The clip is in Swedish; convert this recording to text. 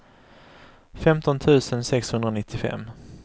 femton tusen sexhundranittiofem